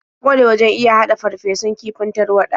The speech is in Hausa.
Ta ƙware wajen iya haɗa farfesun kifin tarwaɗa.